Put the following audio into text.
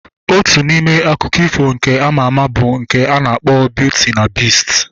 Otu n'ime akụkọ ifo nke ama ama bụ nke a na-akpọ Biuti na Bist